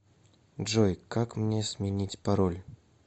джой как мне сменить пароль